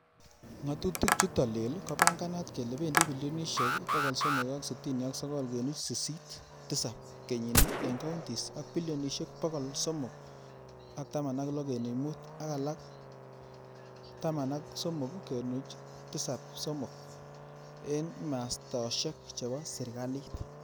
Ngatutik chutak lel ko panganat kele pendi bilionishek 369.87 kenyini ing counties ak bilionishek 316.5 ak 13.73 ing mastoshek chepo serikalit.